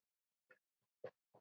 Hrönn og Magnús.